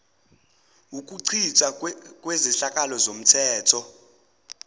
ukuchithwa kwezehlakalo zomthetho